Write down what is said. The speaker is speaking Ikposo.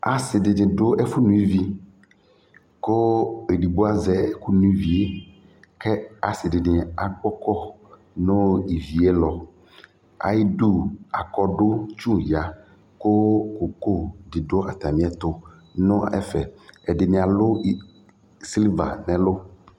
asi dɩnɩ dʊ ɛfʊ no ivi, kʊ edigbo azɛ ɛkʊ no ivi yɛ, kʊ asidɩnɩ agbɔkɔ nʊ ivi yɛ ayʊ ɛtʊ, ayidu aklatetsu ya kʊ koko dɩ dʊ atamiɛtʊ nʊ ɛfɛ, ɛdɩnɩ alʊ kpolu nʊ ɛlʊ